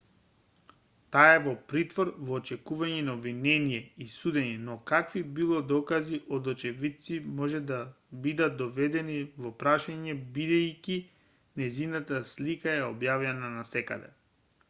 таа е во притвор во очекување на обвинение и судење но какви било докази од очевидци може да бидат доведени во прашање бидејќи нејзината слика е објавена насекаде